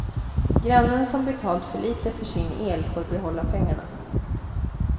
Grannen som betalt för lite för sin el får behålla pengarna.